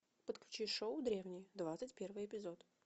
подключи шоу древние двадцать первый эпизод